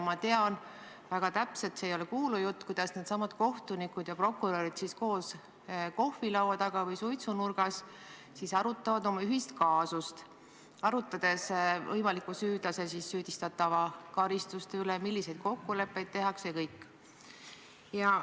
Ma tean väga täpselt – see ei ole kuulujutt –, kuidas needsamad kohtunikud ja prokurörid kohvilaua taga või suitsunurgas koos olles arutavad oma ühist kaasust, arutledes võimaliku süüdlase, st süüdistatava karistuste üle, milliseid kokkuleppeid tehakse jne.